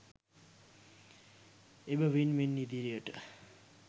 එබැවින් මින් ඉදිරියට